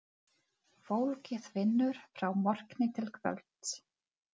Fólkið vinnur frá morgni til kvölds.